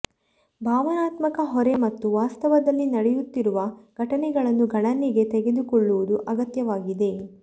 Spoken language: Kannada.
ಭಾವನಾತ್ಮಕ ಹೊರೆ ಮತ್ತು ವಾಸ್ತವದಲ್ಲಿ ನಡೆಯುತ್ತಿರುವ ಘಟನೆಗಳನ್ನು ಗಣನೆಗೆ ತೆಗೆದುಕೊಳ್ಳುವುದು ಅಗತ್ಯವಾಗಿದೆ